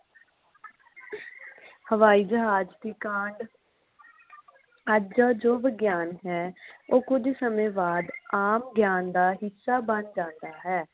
ਹਾਵਾਈਜਹਾਜ ਦੀ ਕਾਂਡ ਅੱਜ ਦਾ ਜੋ ਵਿਗਿਆਨ ਹੈ ਉਹ ਕੁਝ ਸਮੇਂ ਬਾਦ ਆਮ ਗਿਆਨ ਦਾ ਹਿਸਾ ਬਣ ਜਾਂਦਾ ਹੈ